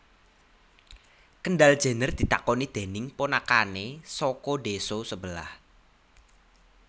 Kendall Jenner ditakoni dening ponakane saka desa sebelah